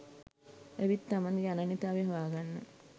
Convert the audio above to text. ඇවිත් තමන්ගෙ අනන්‍යතාව හොයාගන්න